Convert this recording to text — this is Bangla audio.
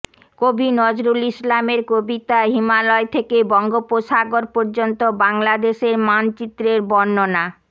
কবি নজরুল ইসলামের কবিতায় হিমালয় থেকে বঙ্গোপোসাগর পর্যন্ত বাংলাদেশের মাচিত্রের বর্ননা